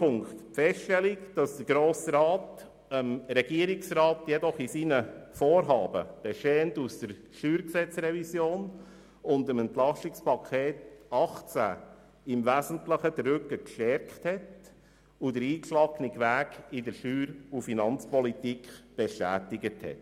Zweitens hat der Grosse Rat dem Regierungsrat bei seinen Vorhaben, bestehend aus der StG-Revision und dem EP 2018, im Wesentlichen den Rücken gestärkt und den eingeschlagenen Weg in der Steuer- und Finanzpolitik bestätigt.